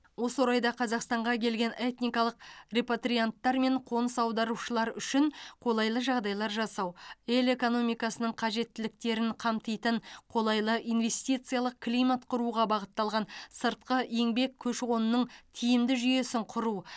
осы орайда қазақстанға келген этникалық репатрианттар мен қоныс аударушылар үшін қолайлы жағдайлар жасау ел экономикасының қажеттіліктерін қамтитын қолайлы инвестициялық климат құруға бағытталған сыртқы еңбек көші қонының тиімді жүйесін құру